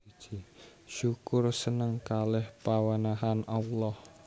Syukur seneng kaleh pawenehan Allah